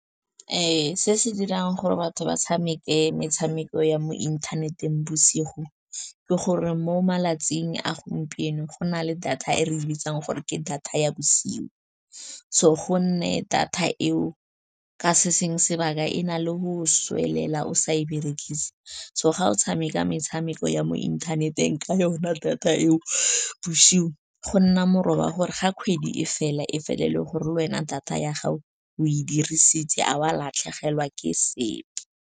Se se dirang gore batho ba tshameke metshameko ya mo inthaneteng bosigo ke gore mo malatsing a gompieno go na le data e re le bitsang gore ke data ya bosigo, so go nne data eo ka se sengwe sebaka, e na le go sa swelela, o sa e berekise. So, ga o tshameka metshameko ya mo inthaneteng ka yona data eo bosigo, go nna moroba gore ga kgwedi e fela e fele ele gore le wena data ya gago o e dirisitse a wa latlhegelwa ke sepe.